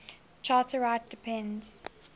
charter rights depend